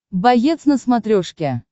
боец на смотрешке